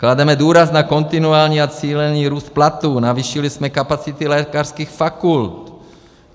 Klademe důraz na kontinuální a cílený růst platů, navýšili jsme kapacity lékařských fakult.